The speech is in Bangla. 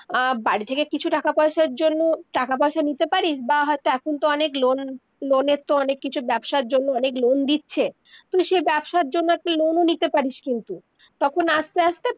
বাড়ি থেকে কিছু টাকা পয়সা জন্য টাকা পয়সা নিতে পারিস বা হয়তো এখন তো অনেক loanloan এর তো অনেক কিছু ব্যবসার জন্য অনেক loan দিচ্ছে, তুই সেই ব্যবসা জুন একটা loan ও নিতে পারিস কিন্তু তখন আস্তে আস্তে-